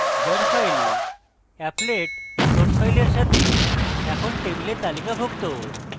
jar file applet source file সাথে এখন table তালিকাভুক্ত